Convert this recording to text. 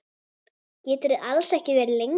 Geturðu alls ekki verið lengur?